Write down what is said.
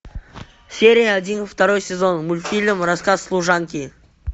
серия один второй сезон мультфильм рассказ служанки